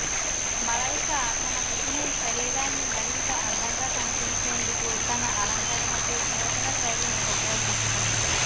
మలైకా తన బికినీ శరీరాన్ని మరింత అందంగా కనిపించేందుకు తన అలంకరణకు నూతన శైలిని ఉపయోగించుకుంది